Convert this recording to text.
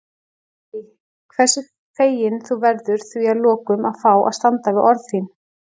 Dídí, hversu fegin þú verður því að lokum að fá að standa við orð þín.